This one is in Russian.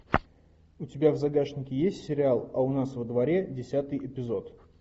у тебя в загашнике есть сериал а у нас во дворе десятый эпизод